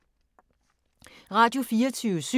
Radio24syv